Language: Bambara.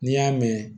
N'i y'a mɛn